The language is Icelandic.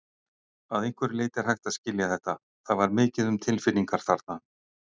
Að einhverju leyti er hægt að skilja þetta- það var mikið um tilfinningar þarna.